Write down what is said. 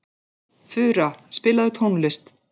Fura, spilaðu tónlist.